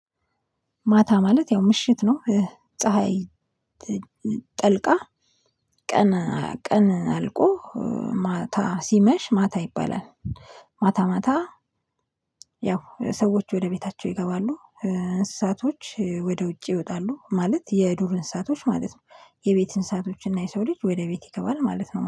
ማታ ማለት ያው ምሽት ነው። ፀሀይ ጠልቃ ቀን ቀን አልቆ ማታ ሲመሽ ማታ ይባላል። ማታ ማታ ያው ሰዎች ወደ ቤታቸው ይገባሉ። እንስሳቶች ወደ ውጭ ይወጣሉ ማለት የዱር እንስሳቶች ማለት ነው። የቤት አንሳቶችና የሰው ልጅ ወደ ቤት ይገባል ማለት ነው